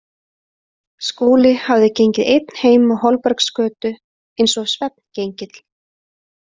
Skúli hafði gengið einn heim á Holbergsgötu, eins og svefngengill.